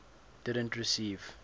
didn t receive